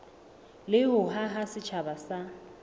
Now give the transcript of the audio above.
le ho haha setjhaba sa